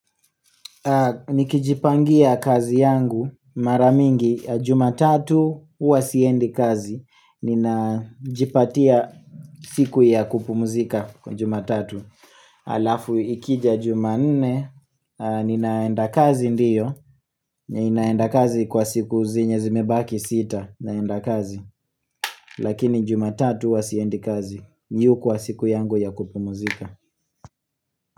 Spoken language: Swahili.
Nikijipangia kazi yangu mara mingi jumatatu huwa siendi kazi ninajipatia siku ya kupumzika kwa jumatatu Alafu ikija jumanne ninaenda kazi ndio ninaenda kazi kwa siku zenye zimebaki sita naenda kazi Lakini jumatatu huwa siendi kazi. Hii hukuwa siku yangu ya kupumuzika.